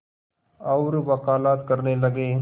और वक़ालत करने लगे